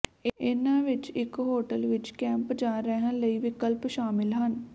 ਇਨ੍ਹਾਂ ਵਿੱਚ ਇੱਕ ਹੋਟਲ ਵਿੱਚ ਕੈਂਪ ਜਾਂ ਰਹਿਣ ਲਈ ਵਿਕਲਪ ਸ਼ਾਮਲ ਹਨ